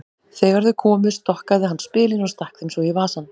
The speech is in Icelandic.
Þegar þau komu stokkaði hann spilin og stakk þeim svo í vasann.